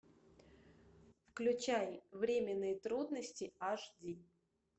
включай временные трудности аш ди